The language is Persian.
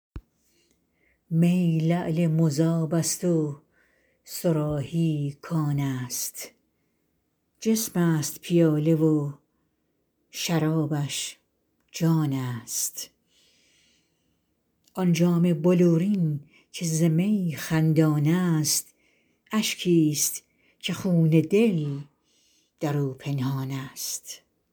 می لعل مذاب است و صراحی کان است جسم است پیاله و شرابش جان است آن جام بلورین که ز می خندان است اشکی است که خون دل در او پنهان است